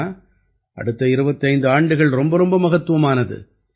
ஏன்னா அடுத்த 25 ஆண்டுகள் ரொம்பரொம்ப மகத்துவமானது